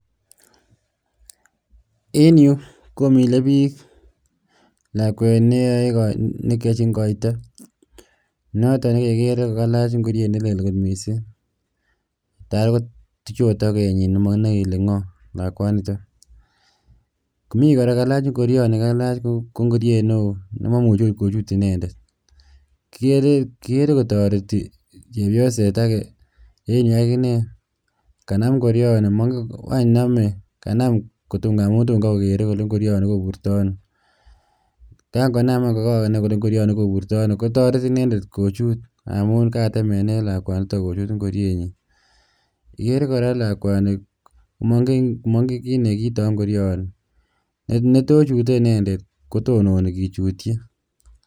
En yuu komile biik lakwet nekiochin koito, noton nekekeree ko kalach ng'oriet nelel kot mising taii kotuch okot tokenyin takaii komokinoee kelee ng'oo lakwaniton, mii kora ing'orioni kalach ko ng'oriet newoo nemomuche kochut inendet, kikeree kotoretii chepioset akee en yuu akinee kanam ing'orioni ngwany nomee kanam ng'amun toom kaii kokeree kolee ing'orioni koburtono, kang'onaam aany ko ng'oker kolee ing'orioni koburtono kotoret inendet kochuut amuun katemenen lakwaniton kochuut ing'orienyin, ikeree kora lakwani ilee mong'en kiit nekiito ing'orioni en netochute inendet kotononi kichutyi.